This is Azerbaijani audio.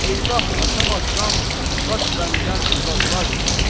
Eyvəh açamazsan, qaç bəndən, uzaqlaş.